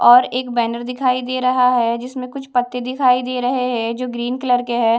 और एक बैनर दिखाई दे रहा है जिसमें कुछ पत्ते दिखाई दे रहे हैं जो ग्रीन कलर के है।